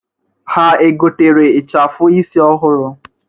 Ha egotere ịchafụ isi ọhụrụ?